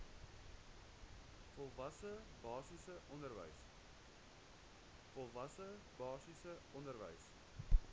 volwasse basiese onderwys